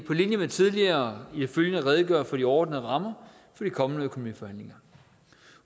på linje med tidligere i det følgende redegøre for de overordnede rammer for de kommende økonomiforhandlinger